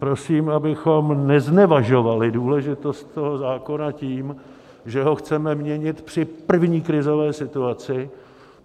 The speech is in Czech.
Prosím, abychom neznevažovali důležitost toho zákona tím, že ho chceme měnit při první krizové situaci.